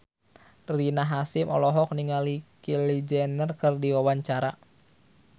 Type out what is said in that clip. Rina Hasyim olohok ningali Kylie Jenner keur diwawancara